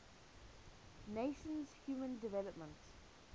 nations human development